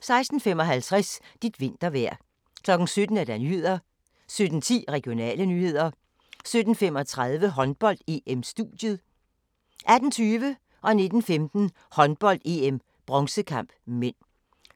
16:55: Dit vintervejr 17:00: Nyhederne 17:10: Regionale nyheder 17:35: Håndbold: EM-studiet 18:20: Håndbold: EM - bronzekamp (m) 19:15: Håndbold: EM - bronzekamp (m)